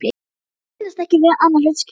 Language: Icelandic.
Hún kannaðist ekki við annað hlutskipti.